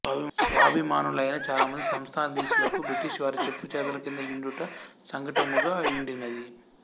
స్వాభిమానులైన చాలమంది సంస్థానాధీశులకు బ్రిటిష్ వారి చెప్పుచేతలకింద యుండుట సంకటముగయుండినది